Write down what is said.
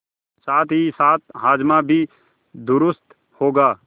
साथहीसाथ हाजमा भी दुरूस्त होगा